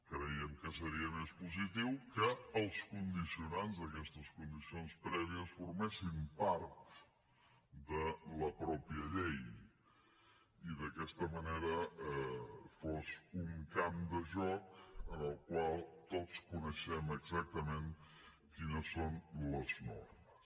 creiem que seria més positiu que els condicionants d’aquestes condicions prèvies formessin part de la mateixa llei i d’aquesta manera fos un camp de joc en el qual tots coneixem exactament quines són les normes